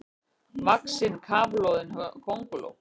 vaxin kafloðin könguló.